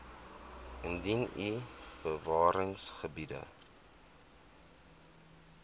indien u bewaringsgebiede